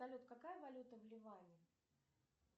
салют какая валюта в ливане